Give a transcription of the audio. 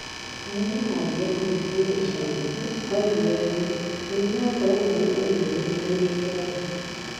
Na rĩrĩa aathire kanitha-inĩ ica ikuhĩ, oigire ũũ: "Mũrimũ wa corona nĩ ũninĩtwo nĩ Ngai".